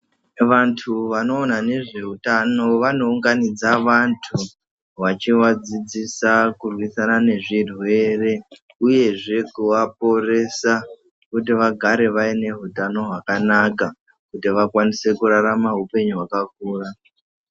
Vantu vanoona nezveutano vanounganidza Vantu vachivadzidzisa kurwisana nezvirwere uyezve kuvaporesa kuti vagare vaineutano hwakanaka kuti vakwanise kurarama upenyu hwakakura.